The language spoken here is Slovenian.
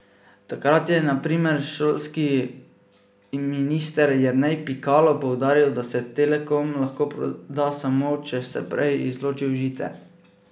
Takrat je na primer šolski minister Jernej Pikalo poudaril, da se Telekom lahko proda samo, če se prej izločijo žice.